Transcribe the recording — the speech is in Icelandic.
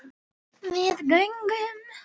Við göngum